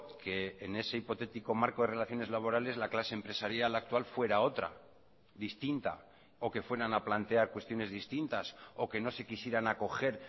que en ese hipotético marco de relaciones laborales la clase empresarial actual fuera otra distinta o que fueran a plantear cuestiones distintas o que no se quisieran acoger